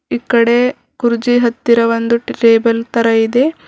ಇಕ್ಕಡೆ ಕುರ್ಚಿ ಹತ್ತಿರ ಒಂದು ಟೇಬಲ್ ತರ ಇದೆ.